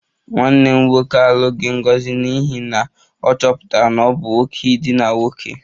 Nwanne m nwoke alụghị Ngozi n'ihi na ọ chọpụtara na ọ bụ nwoke idina nwoke